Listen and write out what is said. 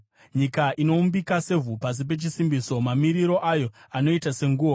Nyika inoumbika sevhu pasi pechisimbiso; mamiriro ayo anoita senguo.